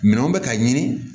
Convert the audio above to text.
Minɛnw bɛ ka ɲini